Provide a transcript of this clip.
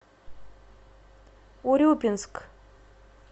урюпинск